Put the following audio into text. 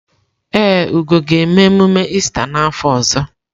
Ee, Ugo ga-eme emume Ista n’afọ ọzọ.